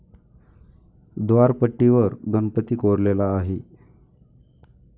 व्दारपट्टीवर गणपती कोरलेला आहे.